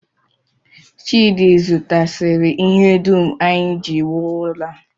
Chidi zụtasịrị ihe dum anyị ji wuo ụlọ a